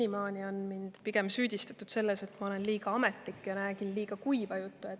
Senimaani on mind pigem süüdistatud selles, et ma olen liiga ametlik ja räägin liiga kuiva juttu.